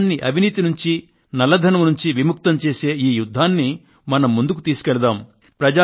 దేశాన్ని అవినీతి బారి నుండి నల్లధనం బారి నుండి విముక్తం చేసే ఈ యుద్ధాన్ని మనం ముందుకు తీసుకెళదాం